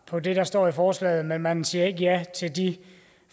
på det der står i forslaget men man siger ikke ja til de